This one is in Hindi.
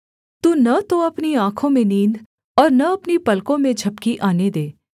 तू न तो अपनी आँखों में नींद और न अपनी पलकों में झपकी आने दे